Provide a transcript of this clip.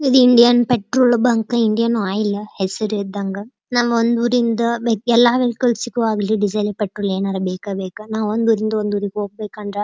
ಇದ್ Indian petrol bunk Indian oil ಹೆಸ್ರ್ ಇದ್ದಂಗ್ ನಮ್ ಒಂದ್ ಊರಿಂದ ಎಲ್ಲ ವೆಹಿಕಲ್ಸ್ ಗು ಬೇಕು ಡಿಸೇಲ್ ಪೆಟ್ರೋಲ್ ಏನಾರು ಬೇಕೇ ಬೇಕಾ ನಾವ್ ಒಂದ್ ಊರಿಂದ ಇನ್ನೊಂದುರಿಗೇ ಹೋಗ್ಬೇಕು ಅಂದ್ರ--